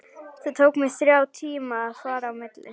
Það tók mig þrjá tíma að fara á milli.